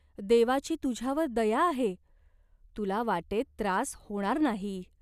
देवाची तुझ्यावर दया आहे. तुला वाटेत त्रास होणार नाही.